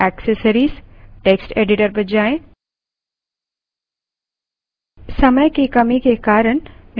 applications> accessories> text editor पर जाएँ